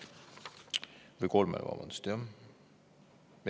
Või vabandust, kolmele?